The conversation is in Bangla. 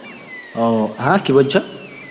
অ হ্যাঁ কি বলছ?